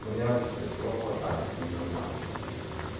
у меня вообще-то всего хватает всё нормально со мной